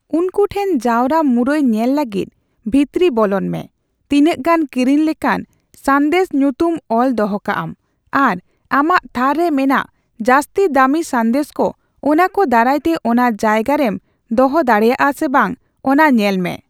ᱩᱱᱠᱩ ᱴᱷᱮᱱ ᱡᱟᱣᱨᱟ ᱢᱩᱨᱟᱹᱭ ᱧᱮᱞ ᱞᱟᱹᱜᱤᱫ ᱵᱷᱤᱛᱨᱤ ᱵᱚᱞᱚᱱ ᱢᱮ, ᱛᱤᱱᱟᱹᱜ ᱜᱟᱱ ᱠᱤᱨᱤᱧ ᱞᱮᱠᱟᱱ ᱥᱟᱸᱫᱮᱥ ᱧᱩᱛᱩᱢ ᱚᱞ ᱫᱚᱦᱚᱠᱟᱢ, ᱟᱨ ᱟᱢᱟᱜ ᱛᱷᱟᱨ ᱨᱮ ᱢᱮᱱᱟᱜ ᱡᱟᱹᱥᱛᱤ ᱫᱟᱢᱤ ᱥᱟᱸᱫᱮᱥ ᱠᱚ ᱚᱱᱟ ᱠᱚ ᱫᱟᱨᱟᱭᱛᱮ ᱚᱱᱟ ᱡᱟᱭᱜᱟ ᱨᱮᱢ ᱫᱚᱦᱚ ᱫᱟᱲᱮᱭᱟᱜᱼᱟ ᱥᱮ ᱵᱟᱝ ᱚᱱᱟ ᱧᱮᱞ ᱢᱮ ᱾